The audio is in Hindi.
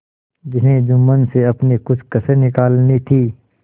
जिन्हें जुम्मन से अपनी कुछ कसर निकालनी थी